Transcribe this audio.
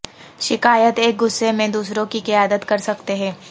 شکایات ایک غصے میں دوسروں کی قیادت کر سکتے ہیں